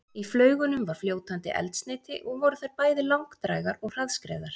Í flaugunum var fljótandi eldsneyti og voru þær bæði langdrægar og hraðskreiðar.